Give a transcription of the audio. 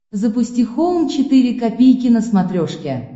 запусти хоум четыре ка на смотрешке